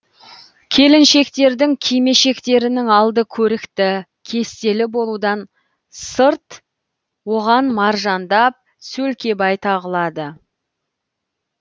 келіншектердің кимешектерінің алды көрікті кестелі болудан сырт оған маржандап сөлкебай тағылады